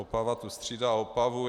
Opava tu střídá Opavu.